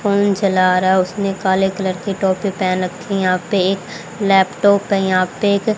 phone चला रहा है उसने काले कलर के टोपी पहन रखी है यहां पे एक लैपटॉप है यहां पे एक--